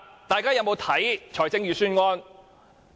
大家有否閱讀預算案？